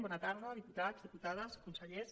bona tarda diputats diputades consellers